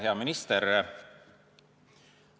Hea minister!